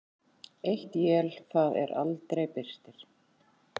Eitt él það er aldrei birtir.